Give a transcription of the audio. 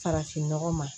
Farafin nɔgɔ ma